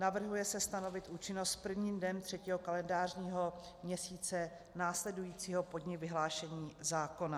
Navrhuje se stanovit účinnost prvním dnem třetího kalendářního měsíce následujícího po dni vyhlášení zákona.